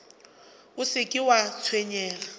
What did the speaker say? o se ke wa tshwenyega